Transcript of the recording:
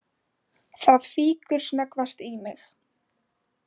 Það fýkur snöggvast í mig.